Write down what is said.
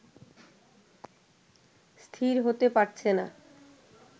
স্থির হতে পারছে না